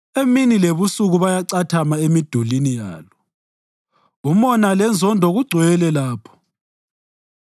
Emini lebusuku bayacathama emidulini yalo; umona lenzondo kugcwele lapho.